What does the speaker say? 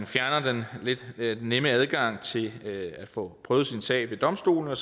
fjerne den lidt nemme adgang til at få prøvet sin sag ved domstolene